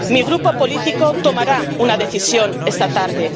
Mi grupo político tomará una decisión esta tarde.